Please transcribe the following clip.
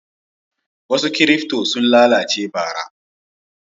Wasu kirifto sun lalace bara.